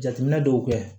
Jateminɛ dɔw kɛ